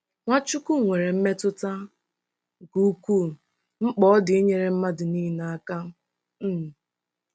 Nwachukwu nwere mmetụta nke ukwuu mkpa ọ dị inyere mmadụ niile aka. um